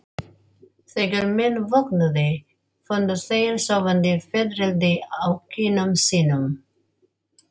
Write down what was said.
Þegar menn vöknuðu fundu þeir sofandi fiðrildi á kinnum sínum.